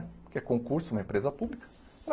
Porque é concurso, uma empresa pública.